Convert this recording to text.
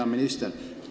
Hea minister!